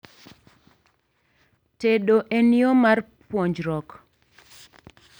Tedo en yoo mar puonjruok